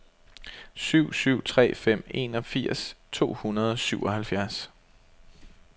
syv syv tre fem enogfirs to hundrede og syvoghalvfjerds